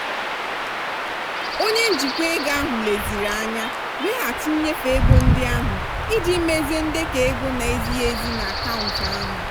onye njikwa ego ahụ lezirianya weghachi nnyefe ego ndị ahụ iji mezie ndekọ ego na-ezighị ezi n'akaụntụ ahụ.